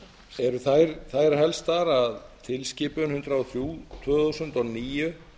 eru þær helstar að tilskipun hundrað og þrjú tvö þúsund og níu